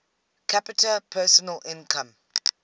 capita personal income